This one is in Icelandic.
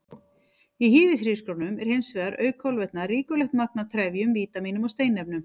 Í hýðishrísgrjónum er hins vegar, auk kolvetna, ríkulegt magn af trefjum, vítamínum og steinefnum.